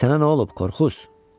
"Sənə nə olub, Korkuz?